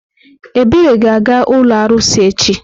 Ebere ga-aga ụlọ arụsị echi.